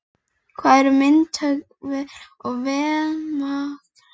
Hvað eru myndhöggvarinn og demókratinn að gera úti á gólfi.